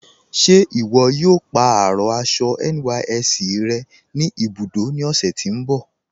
Ṣe iwọ̀ yóò pa arọ aṣọ NYSC rẹ̀ ni ibudó ni ọ̀sẹ̀ tí n bọ̀?